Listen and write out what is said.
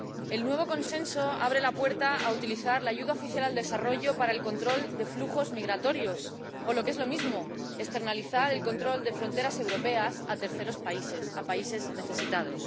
El nuevo Consenso abre la puerta a utilizar la ayuda oficial al desarrollo para el control de flujos migratorios o, lo que es lo mismo, a externalizar el control de las fronteras europeas a terceros países, a países necesitados.